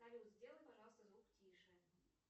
салют сделай пожалуйста звук тише